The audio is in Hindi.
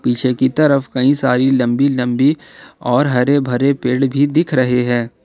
पीछे की तरफ कई सारी लंबी लंबी और हरे भरे पेड़ भी दिख रहे हैं।